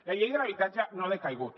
la llei de l’habitatge no ha decaigut